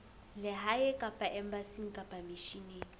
lehae kapa embasing kapa misheneng